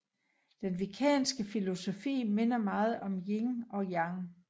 Den wiccanske filosofi minder meget om yin og yang